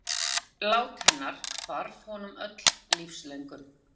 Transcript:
Þegar hann heyrði lát hennar hvarf honum öll lífslöngun.